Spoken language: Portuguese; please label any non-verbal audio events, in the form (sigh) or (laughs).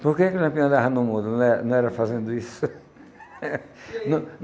Por que que o Lampião andava no mundo não era não era fazendo isso? (laughs) E aí